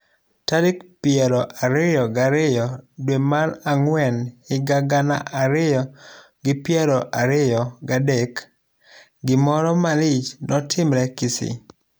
Tarik piero ariyo gariyo dwe mar ang'wen higa gana ariyo gi piero ariyo gadek, gimoro malich notimre Kisii.